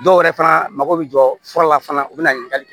Dɔw yɛrɛ fana mako bɛ jɔ fura la fana u bɛ na ɲininkali kɛ